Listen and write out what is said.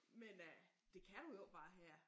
Men øh det kan du jo ikke bare her